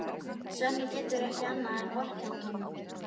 Svenni getur ekki annað en vorkennt honum.